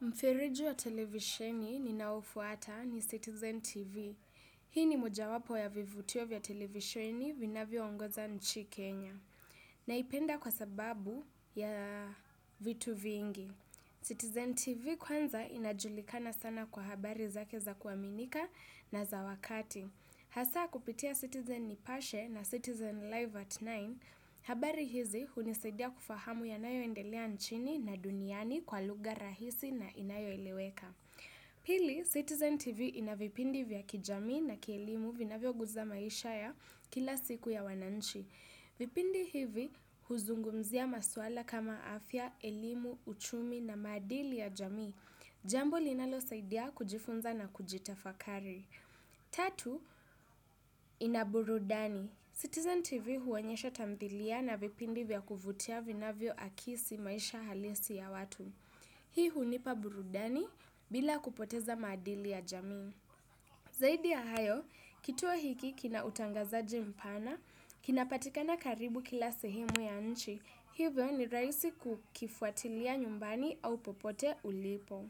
Mfereji wa televisheni ninaofuata ni Citizen TV. Hii ni moja wapo ya vivutio vya televisheni vinavyo ongoza nchi Kenya. Naipenda kwa sababu ya vitu vingi. Citizen TV kwanza inajulikana sana kwa habari zake za kuaminika na za wakati. Hasa kupitia Citizen Nipashe na Citizen Live at tisa, habari hizi hunisidia kufahamu yanayo endelea nchini na duniani kwa lugha rahisi na inayoeleweka. Pili, Citizen TV ina vipindi vya kijami na kielimu vinavyo guza maisha ya kila siku ya wananchi. Vipindi hivi huzungumzia maswala kama afya, elimu, uchumi na madili ya jamii. Jambo linalo saidia kujifunza na kujitafakari. Tatu, ina burudani. Citizen TV huonyesha tamthilia na vipindi vya kuvutia vinavyo akisi maisha halisi ya watu. Hii hunipa burudani bila kupoteza maadili ya jamii. Zaidi ya hayo, kituo hiki kina utangazaji mpana, kinapatikana karibu kila sehimu ya nchi. Hivyo ni raisi kukifuatilia nyumbani au popote ulipo.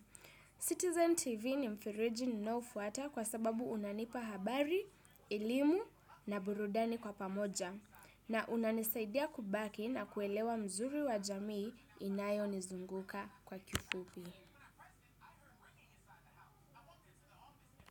Citizen TV ni mfereji ninaofuata kwa sababu unanipa habari, elimu na burudani kwa pamoja. Na unanisaidia kubaki na kuelewa mzuri wa jamii inayo nizunguka kwa kifupi.